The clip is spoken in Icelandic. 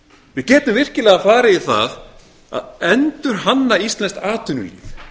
við getum virkilega farið í það að endurhannað íslenskt atvinnulíf